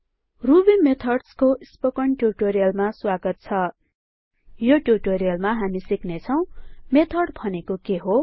ruby methods को spoken ट्यूटोरियलमा स्वागत छ यो ट्यूटोरियलमा हामी सिक्ने छौ मेथड भनेको के हो